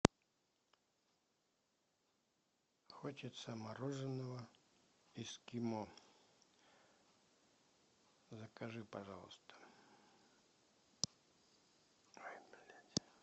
хочется мороженного эскимо закажи пожалуйста ой блядь